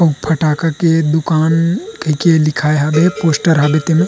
उ फटाखा के दुकान दिखई हबै पोस्टर हबै ते मे --